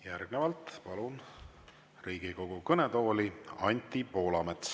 Järgnevalt palun Riigikogu kõnetooli Anti Poolametsa.